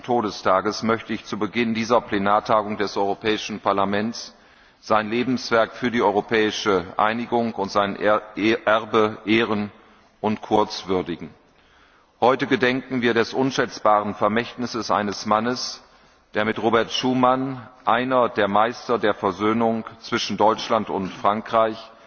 30. Todestages möchte ich zu Beginn dieser Plenarsitzung des Europäischen Parlaments sein Lebenswerk für die europäische Einigung und sein Erbe ehren und kurz würdigen. Heute gedenken wir des unschätzbaren Vermächtnisses eines Mannes, der mit Robert Schuman, einem der Meister der Versöhnung zwischen Deutschland und Frankreich,